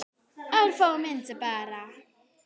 Örfáar myndir bara.